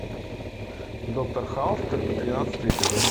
доктор хаус тринадцатый эпизод